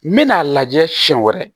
N bɛna lajɛ siɲɛ wɛrɛ